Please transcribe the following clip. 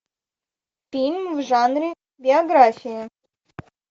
фильм в жанре биография